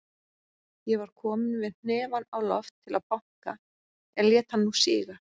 Ég var kominn með hnefann á loft til að banka, en lét hann nú síga.